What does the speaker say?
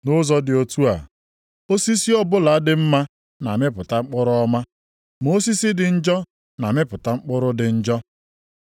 Nʼụzọ dị otu a, osisi ọbụla dị mma na-amịpụta mkpụrụ ọma, ma osisi dị njọ na-amịpụta mkpụrụ dị njọ.